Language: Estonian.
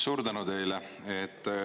Suur tänu teile!